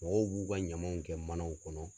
Mɔgɔw k'u ka ɲamaw kɛ manaw kɔnɔ.